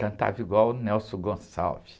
Cantava igual o Nelson Gonçalves.